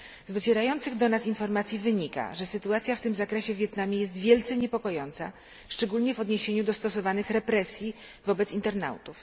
Z docierających do nas informacji wynika, że sytuacja w tym zakresie w Wietnamie jest wielce niepokojąca, szczególnie w odniesieniu do stosowanych represji wobec internautów.